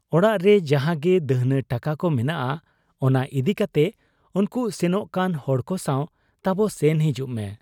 ᱚᱲᱟᱜᱨᱮ ᱡᱟᱦᱟᱸᱜᱮ ᱫᱟᱹᱦᱱᱟᱹ ᱴᱟᱠᱟᱠᱚ ᱢᱮᱱᱟᱜ, ᱚᱱᱟ ᱤᱫᱤ ᱠᱟᱛᱮ ᱩᱱᱠᱩ ᱥᱮᱱᱚᱜ ᱠᱟᱱ ᱦᱚᱲᱠᱚ ᱥᱟᱶ ᱛᱟᱵᱚ ᱥᱮᱱ ᱦᱤᱡᱩᱜ ᱢᱮ ᱾